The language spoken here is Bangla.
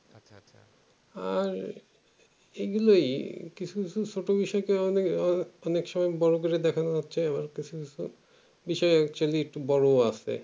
আহ এগুলোই কিছু কিছু ছোট ছোট বিষয়টা অনেক অনেক সময়ে বড়ো করে দেখানো হচ্ছে বিষয় actually বড়ো ও আছে